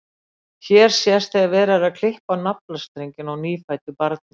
Hér sést þegar verið er að klippa á naflastrenginn á nýfæddu barni.